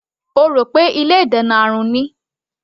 Ó rò pé ilé ìdènà àrùn ni.